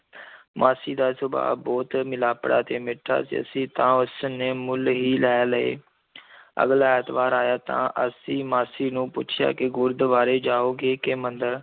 ਮਾਸੀ ਦਾ ਸੁਭਾਅ ਬਹੁਤ ਮਿਲਾਪੜਾ ਤੇ ਮਿੱਠਾ ਸੀ, ਅਸੀਂ ਤਾਂ ਉਸ ਨੇ ਮੁੱਲ ਹੀ ਲੈ ਲਏ ਅਗਲਾ ਐਤਵਾਰ ਆਇਆ ਤਾਂ ਅਸੀਂ ਮਾਸੀ ਨੂੰ ਪੁੱਛਿਆ ਕਿ, ਗੁਰਦਵਾਰੇ ਜਾਓਗੇ ਕਿ ਮੰਦਰ?